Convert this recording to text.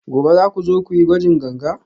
gobe za ku zo ku yi gwajin ganga?